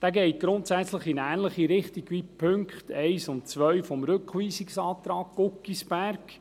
Dieser geht grundsätzlich in eine ähnliche Richtung wie die Punkte 1 und 2 des Rückweisungsantrags Guggisberg.